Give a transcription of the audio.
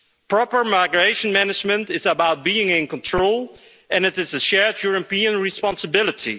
Proper migration management is about being in control, and it is a shared European responsibility.